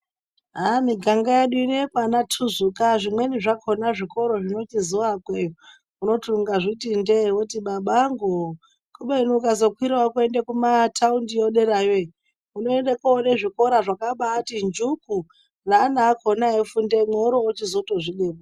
Miganga yedu ino yekwanaTuzuka zvimweni zvakona zvikoro zvinochizoakweyo unoti ungazviti ndee woti babanguwoye kubeni ukazokwirawo kuende kumataundiyo derayo iyo unoende koone zvikora zvakabaati njuku neana akona eifundemwo worochizotozvidemba.